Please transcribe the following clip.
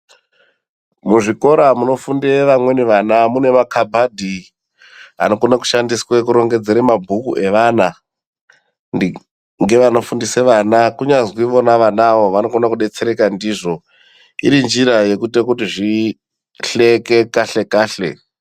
Muzvikora munofundira amweni ana mune makabhadhi anokone kushandiswa kurongedzere mabhuku evana. Ngevanofundisa vana kunyazi ivona vanavo vanokona kubetsereka ndizvo iri njira yekuite kuti zvihlekekahle-kahle.